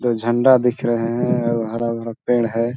तो झंडा दिख रहे हैं भरा भरा पेड़ है।